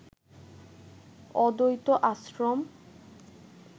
অদ্বৈত আশ্রম